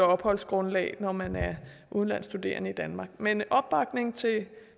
opholdsgrundlaget når man er udenlandsk studerende i danmark men der er opbakning til